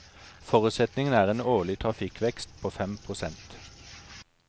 Forutsetningen er en årlig trafikkvekst på fem prosent.